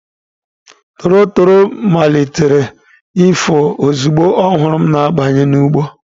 Tọrotoro malitere ịfụ ozugbo ọ hụrụ m na-abanye n'ugbo.